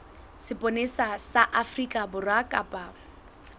sepolesa sa afrika borwa kapa